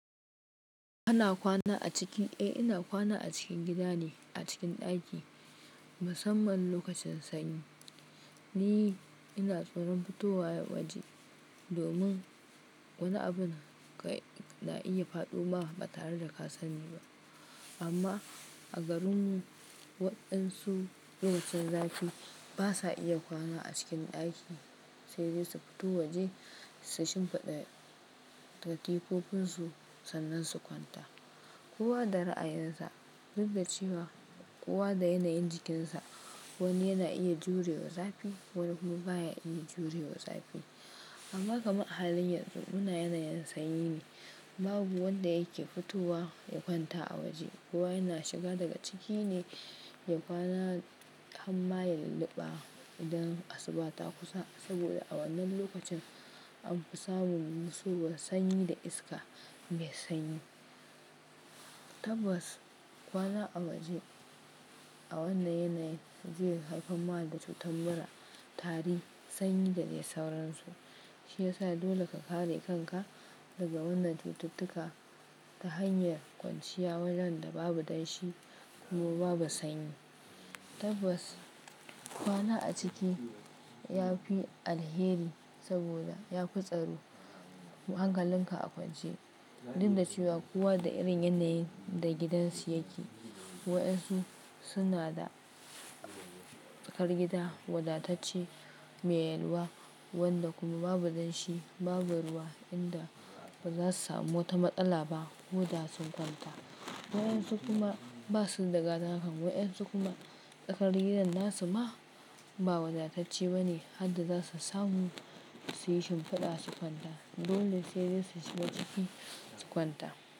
Ina kwana a cikin gida ne a cikin ɗaki musamman lokacin sanyi. Ni ina tsoron fitowa waje domin wani abun na iya faɗoma ba tare da ka sani ba. Amma a garinmu waɗansu lokacin zafi basa iya kwana a cikin ɗaki, sai dai su fito waje su shimfiɗa katikofinsu sannan su kwanta. Kowa da ra'ayinsa, duk da cewa kowa da yanayin jikinsa. Wani yana iya jure wa zafi, wani kuma baya iya jure wa zafi. Amma kamar halin yanzu muna yanayin sanyi ne, babu wanda yake fitowa ya kwanta a waje. Kowa yana shiga daga ciki ne ya kwana ham ma ya lulluɓa idan asuba ta kusa saboda a wannan lokacin an fi samun masu ruwan sanyi da iska mai sanyi. Tabbas kwana a waje a wannan yanayin ze haifar ma da Cutar mura, tari, sanyi da dai sauransu shi ya sa dole ka kare kanka daga wannan titittuka ta hanyar kwanciya wannan da babu danshi kuma babu sanyi. Tabbas kwana a ciki yafi alheri saboda ya fi tsaro hankalin ka a kwance. Duk da cewa kowa da irin yanayin da gidansu yake. Waɗansu suna da tsakar gida wadatacce mai yalwa wanda kuma babu danshi babu ruwa inda ba za su samu wata matsala ba ko da su kwanta. Waɗansu kuma basu da gada kaman, waɗansu kuma tsakar gidan nasu ma ba wadatacce bane, har da za su samu su yi shimfiɗa su kwanta. Dole sai dai su shiga ciki su kwanta.